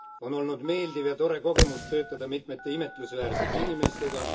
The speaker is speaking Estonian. On olnud meeldiv ja tore kogemus töötada mitmete imetlusväärsete inimestega.